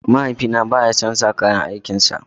Mahaifina baya son sa kayan aikin sa.